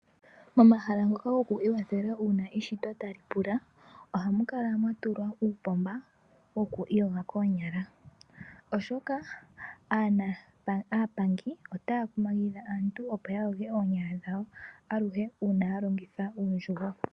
Momahala ngoka goku iikwathela uuna eshito tali pula. Ohamu kala mwa tulwa uupomba woku iiyoga koonyala, oshoka aapangi otaya kumagidha aantu opo ya yoge oonyala dhawo aluhe uuna ya longitha uundjugo.